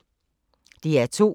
DR2